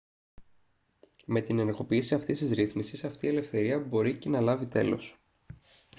με την ενεργοποίηση αυτής της ρύθμισης αυτή η ελευθερία μπορεί και να λάβει τέλος